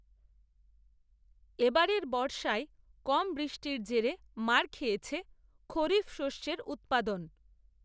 এবারের বর্ষায় কম বৃষ্টির জেরে মার খেয়েছে, খরিফ শস্যের উত্পাদন